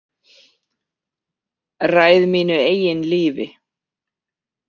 Ræð mínu eigin lífi.